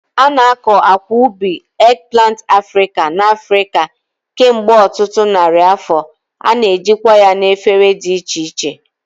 A na-akọ akwa ubi, eggplant Africa, n'Africa kemgbe ọtụtụ narị afọ, a na-ejikwa ya na efere dị iche iche.